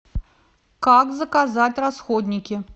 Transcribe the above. как заказать расходники